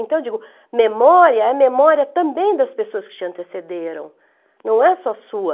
Então, eu digo, memória é memória também das pessoas que te antecederam, não é só sua.